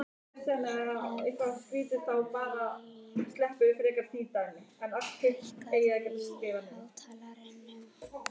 Efraím, hækkaðu í hátalaranum.